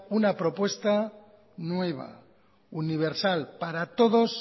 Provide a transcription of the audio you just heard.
una propuesta nueva universal para todos